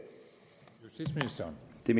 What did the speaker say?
ved